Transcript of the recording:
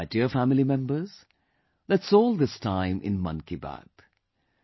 My dear family members, that's all this time in 'Mann Ki Baat'